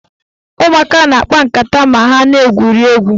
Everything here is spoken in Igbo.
Ụmụaka na-akpa nkata ma ha na-egwuri egwu